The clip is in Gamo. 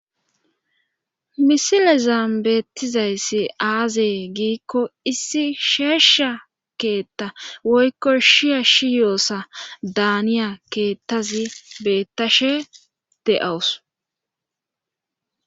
Misile zaambeettizayssi aazee giikko issi sheesha keetta woykko shiya shi yoossa daaniya keettazi beettashe de'awus.